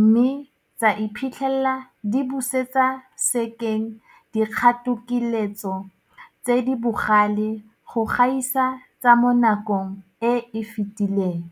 mme tsa iphitlhela di busetsa sekeng dikgatokiletso tse di bogale go gaisa tsa mo nakong e e fetileng.